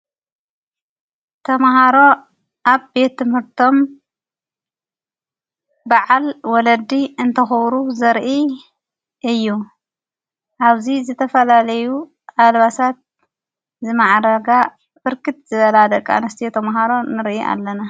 ተምሃሮ ኣብ ቤት ምርቶም ብዓል ወለዲ እንተኸብሩ ዘርኢ እዩ ኣብዚ ዘተፈላለዩ ኣልባሳት ዝመዓረጋ ፍርክት ዘበላ ደቃ ንስቲ የተምሃሮ ንርኢ ኣለና፡፡